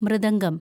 mridangam